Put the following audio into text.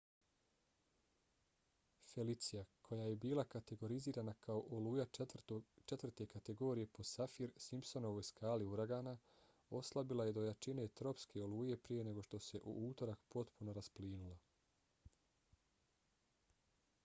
felicia koja je bila kategorizirana kao oluja 4. kategorije po saffir-simpsonovoj skali uragana oslabila je do jačine tropske oluje prije nego što se u utorak potpuno rasplinula